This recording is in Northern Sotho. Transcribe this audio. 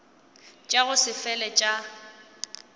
tša go se fele tša